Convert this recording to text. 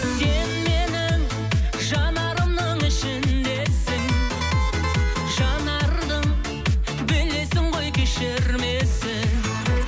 сен менің жанарымның ішіндесің жанардың білесің ғой кешірмесін